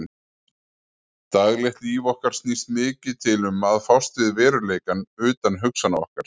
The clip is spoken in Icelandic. Daglegt líf okkar snýst mikið til um að fást við veruleikann utan hugsana okkar.